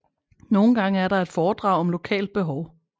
Nogle gange er der et foredrag om lokalt behov